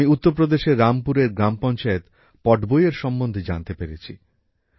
আমি উত্তর প্রদেশের রামপুরের গ্রাম পঞ্চায়েত পটবইয়ের সম্বন্ধে জানতে পেরেছি